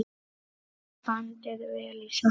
Bandið vel í sokka.